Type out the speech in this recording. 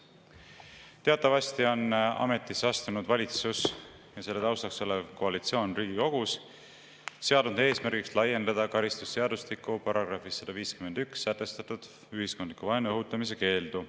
Teatavasti on ametisse astunud valitsus ja selle taustaks olev koalitsioon Riigikogus seadnud eesmärgiks laiendada karistusseadustiku §‑s 151 sätestatud ühiskondliku vaenu õhutamise keeldu.